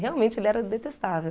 Realmente, ele era detestável.